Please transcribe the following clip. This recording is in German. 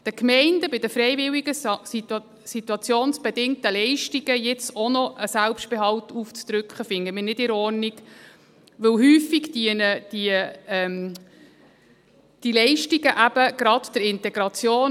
Den Gemeinden bei den freiwilligen SIL jetzt auch noch einen Selbstbehalt aufzudrücken, finden wir nicht in Ordnung, denn häufig dienen diese Leistungen eben gerade der Integration.